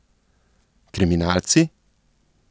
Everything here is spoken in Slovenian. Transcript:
Kriminalci?